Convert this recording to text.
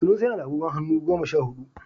Sanusi yana da agogon hannu goma sha hudu